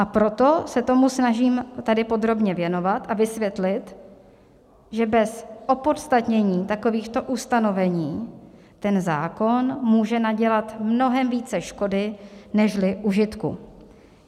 A proto se tomu snažím tady podrobně věnovat a vysvětlit, že bez opodstatnění takovýchto ustanovení ten zákon může nadělat mnohem více škody nežli užitku.